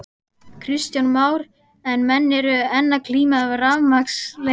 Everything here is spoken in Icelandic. Kristján Már: En menn eru enn að glíma við rafmagnsleysi?